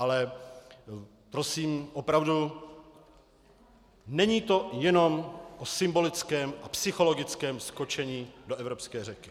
Ale prosím, opravdu, není to jenom o symbolickém a psychologickém skočení do evropské řeky.